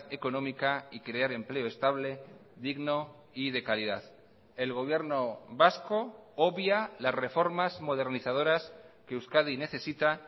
económica y crear empleo estable digno y de calidad el gobierno vasco obvia las reformas modernizadoras que euskadi necesita